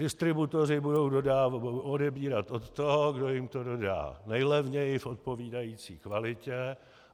Distributoři budou odebírat od toho, kdo jim to dodá nejlevněji v odpovídající kvalitě.